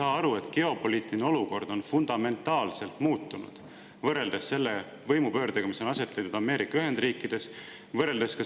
Te ei saa aru, et geopoliitiline olukord on fundamentaalselt muutunud seoses selle võimupöördega, mis on aset leidnud Ameerika Ühendriikides.